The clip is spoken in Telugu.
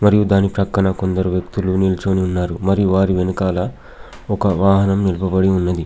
మరియు దాని ప్రక్కన కొందరు వ్యక్తులు నిల్చోని ఉన్నారు. మరియు వారి వెనకాల ఒక వాహనం నిలుపబడి ఉన్నది.